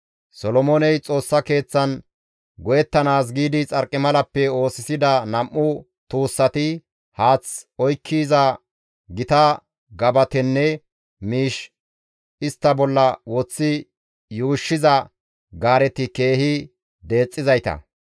Solomooney Xoossa Keeththan go7ettanaas giidi xarqimalappe oosisida nam7u tuussati, haath oykkiza gita gabatenne miish istta bolla woththi yuushshiza gaareti keehi deexxizayta.